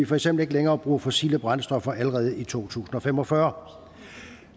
for eksempel ikke længere bruger fossile brændstoffer allerede i to tusind og fem og fyrre